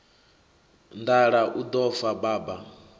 nḓala u ḓo fa baba